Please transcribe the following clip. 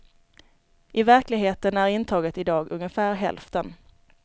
I verkligheten är intaget idag ungefär hälften.